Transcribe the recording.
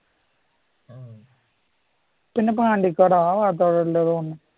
പിന്നെ പണ്ടിക്കടവ് ആ ഭാഗത്തു എവിടയോ ആണ്